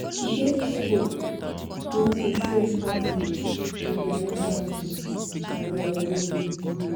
e get pipu wey to show empathy na their empathy na their way.